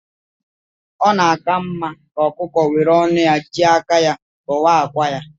Ọ na-aka mma ka ọkụkọ were ọnu ya jị aka ya tuwaa akwa ya.